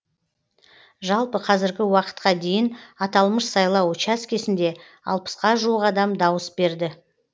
жалпы қазіргі уақытқа дейін аталмыш сайлау учаскесінде алпысқа жуық адам дауыс берді